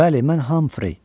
Bəli, mən Humphrey.